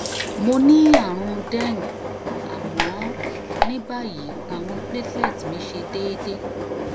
mo ni àrùn dengue àmọ ní báyìí awon platelets mi se deede